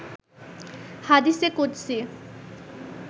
হাদিসে কুদসি